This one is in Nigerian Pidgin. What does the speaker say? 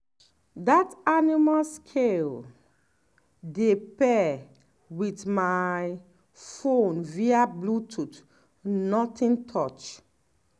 dat animal scale dey pair with my phone via bluetooth nothing touch